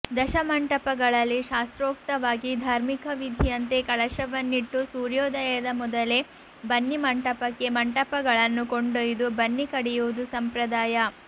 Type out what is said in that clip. ದಶಮಂಟಪಗಳಲ್ಲಿ ಶಾಸ್ತ್ರೋಕ್ತವಾಗಿ ಧಾರ್ಮಿಕ ವಿಧಿಯಂತೆ ಕಳಶವನ್ನಿಟ್ಟು ಸೂರ್ಯೋದಯದ ಮೊದಲೇ ಬನ್ನಿಮಂಟಪಕ್ಕೆ ಮಂಟಪಗಳನ್ನು ಕೊಂಡೊಯ್ದು ಬನ್ನಿ ಕಡಿಯುವುದು ಸಂಪ್ರದಾಯ